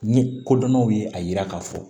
Ni kodɔnnaw ye a yira k'a fɔ